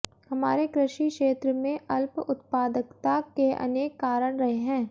हमारे कृषि क्षेत्र में अल्प उत्पादकता के अनेक कारण रहे हैं